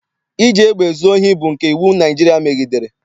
Iji egbe zuo ohi bụ nke iwu Naịjirịa megidere.